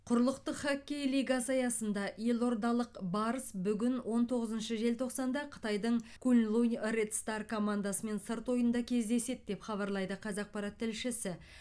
құрлықтық хоккей лигасы аясында елордалық барыс бүгін он тоғызыншы желтоқсанда қытайдың куньлунь ред стар командасымен сырт ойында кездеседі деп хабарлайды қазақпарат тілшісі